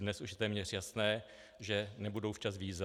Dnes už je téměř jasné, že nebudou včas víza.